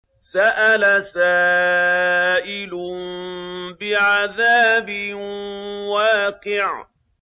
سَأَلَ سَائِلٌ بِعَذَابٍ وَاقِعٍ